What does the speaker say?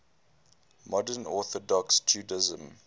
modern orthodox judaism